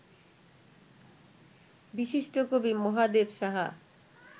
বিশিষ্ট কবি মহাদেব সাহা